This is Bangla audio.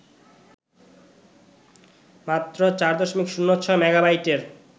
মাত্র ৪.০৬ মেগাবাইটের